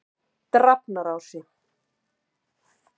Drafnarási